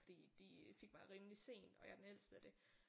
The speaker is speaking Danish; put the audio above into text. Fordi de fik mig rimelig sent og jeg er den ældste og det